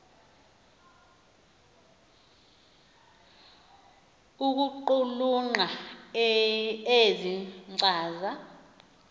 ukuqulunqa ezi nkcaza